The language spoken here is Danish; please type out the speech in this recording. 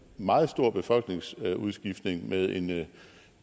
meget stor befolkningsudskiftning med en